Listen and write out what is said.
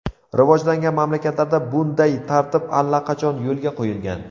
Rivojlangan mamlakatlarda bunday tartib allaqachon yo‘lga qo‘yilgan.